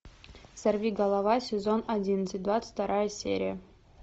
сорви голова сезон одиннадцать двадцать вторая серия